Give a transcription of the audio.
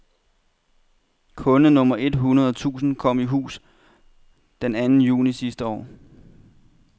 Kunde nummer et hundrede tusind kom i hus den to anden juni sidste år.